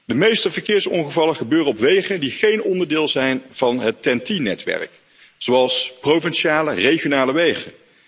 De meeste verkeersongevallen gebeuren op wegen die geen onderdeel zijn van het TEN T netwerk, zoals provinciale, regionale wegen.